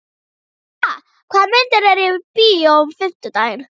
Brigitta, hvaða myndir eru í bíó á fimmtudaginn?